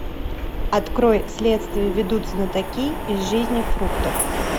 открой следствие ведут знатоки из жизни фруктов